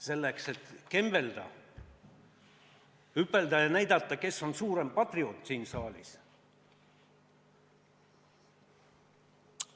Selleks, et kembelda, hüpelda ja näidata, kes on siin saalis kõige suurem patrioot.